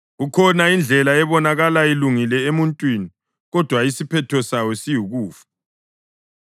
Kukhona indlela ebonakala ilungile emuntwini, kodwa isiphetho sayo siyikufa.